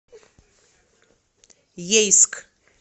ейск